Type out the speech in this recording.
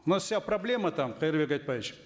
у нас вся проблема там кайырбек айтбаевич